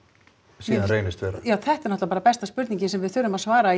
síðan reynist vera já þetta er náttúrulega bara besta spurningin sem við þurfum að svara í